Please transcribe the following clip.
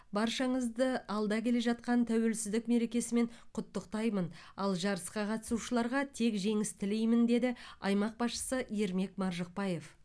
баршаңызды алда келе жатқан тәуелсіздік мерекесімен құттықтаймын ал жарысқа қатысушыларға тек жеңіс тілеймін деді аймақ басшысы ермек маржықпаев